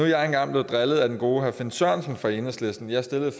jeg engang blevet drillet af den gode herre finn sørensen fra enhedslisten jeg stillede et